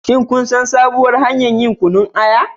Shin kun san sabuwar hanyar yin Kunun aya?